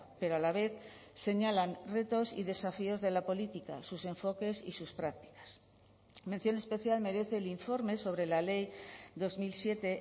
pero a la vez señalan retos y desafíos de la política sus enfoques y sus prácticas mención especial merece el informe sobre la ley dos mil siete